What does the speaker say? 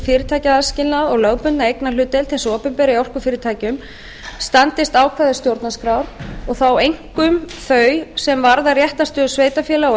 fyrirtækjaaðskilnað og lögbundna eignarhlutdeild hins opinbera í orkufyrirtækjum standist ákvæði stjórnarskrár og þá einkum þau sem varða réttarstöðu sveitarfélaga og